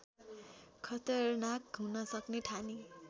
खतरनाक हुन सक्ने ठानी